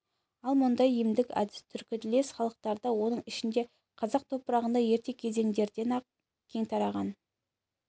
ал мұндай емдік әдіс түркітілдес халықтарда оның ішінде қазақ топырағында ерте кездерден-ақ кең тараған